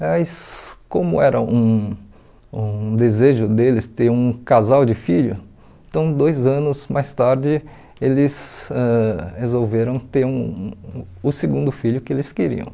Mas como era um um desejo deles ter um casal de filho, então dois anos mais tarde eles ãh resolveram ter um o segundo filho que eles queriam.